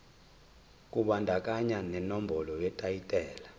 kubandakanya nenombolo yetayitela